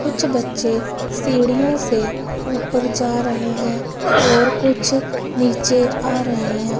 कुछ बच्चे सीढ़ियों से ऊपर जा रहे हैं और कुछ नीचे आ रहे हैं।